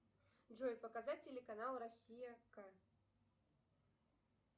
джой показать телеканал россия ка